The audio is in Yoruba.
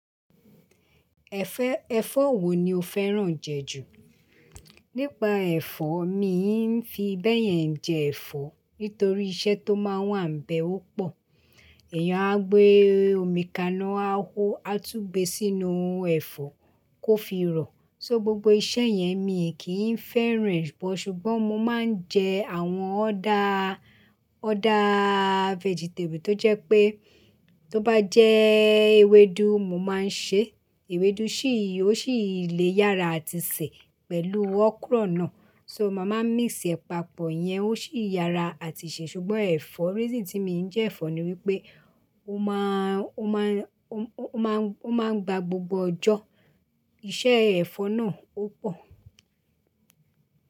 Ẹ̀fẹ̀, ẹ̀fọ́ wo ni o fẹ́ràn jẹ ju? Nípa ẹ̀fọ́, mi n fi bẹ́yẹn jẹ ẹ̀fọ́ nítorí iṣẹ́ tó máa wà ń bẹ ó pọ̀. Ẹ̀yàn á gbé omi kaná á ho, á tú gbé e sínú ẹ̀fọ́ kó fi rọ̀. So gbogbo iṣẹ́ yẹn mi kì í fẹ́ràn e bọ̀ ṣùgbọ́n mo máa ń jẹ àwọn other, ọ̀ther vegetable tó jẹ́ pé tó bá jẹ́ ewedu mo máa ń ṣe ewedu, sì í, ó sì lè yára àti sè pẹ̀lú okra náà. So màá máa mix ẹ̀ papọ̀ yẹn, ó sì yára àti ṣe ṣùgbọ́n ẹ̀fọ́, reason tí mo n jẹ ẹ̀fọ́ ni wípé ó máà, ó máà, ó, ó máà ń, ó máa ń gba gbogbo ọjọ́. Iṣẹ́ ẹ̀fọ́ náà ó pọ̀